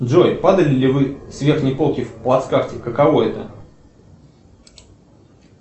джой падали ли вы с верхней полки в плацкарте каково это